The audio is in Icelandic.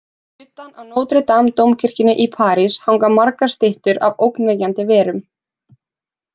Utan á Notre Dame-dómkirkjunni í París hanga margar styttur af ógnvekjandi verum.